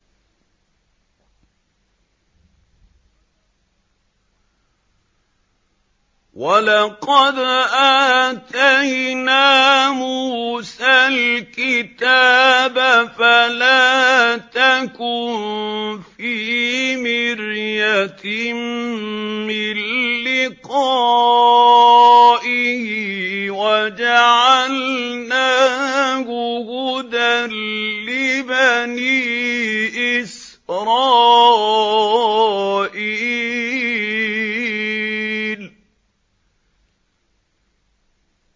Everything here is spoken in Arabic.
وَلَقَدْ آتَيْنَا مُوسَى الْكِتَابَ فَلَا تَكُن فِي مِرْيَةٍ مِّن لِّقَائِهِ ۖ وَجَعَلْنَاهُ هُدًى لِّبَنِي إِسْرَائِيلَ